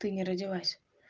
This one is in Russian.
ты не родилась